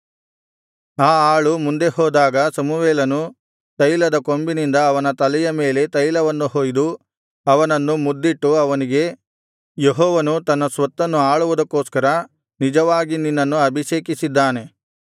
ಆ ಆಳು ಮುಂದೆ ಹೋದಾಗ ಸಮುವೇಲನು ತೈಲದ ಕೊಂಬಿನಿಂದ ಅವನ ತಲೆಯ ಮೇಲೆ ತೈಲವನ್ನು ಹೊಯ್ದು ಅವನನ್ನು ಮುದ್ದಿಟ್ಟು ಅವನಿಗೆ ಯೆಹೋವನು ತನ್ನ ಸ್ವತ್ತನ್ನು ಅಳುವುದಕ್ಕೋಸ್ಕರ ನಿಜವಾಗಿ ನಿನ್ನನ್ನು ಅಭಿಷೇಕಿಸಿದ್ದಾನೆ